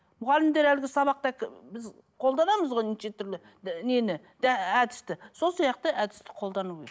мұғалімдер әлгі сабақта біз қолданамыз ғой неше түрлі нені әдісті сол сияқты әдісті қолдану